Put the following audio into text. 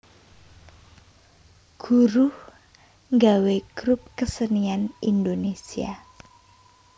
Guruh nggawé grup kesenian Indonésia